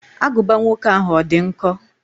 Agụba nwoke ahụ, ọ dị nkọ?